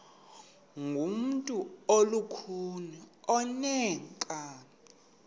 ngumntu olukhuni oneenkani